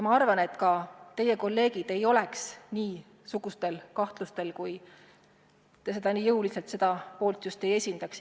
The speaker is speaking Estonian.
Ma arvan, et teie kolleegidel ei oleks niisuguseid kahtlusi, kui te nii jõuliselt just seda poolt ei esindaks.